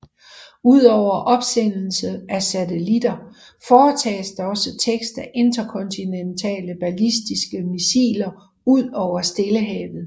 Udover opsendelse af satellitter foretages der også test af interkontinentale ballistiske missiler ud over Stillehavet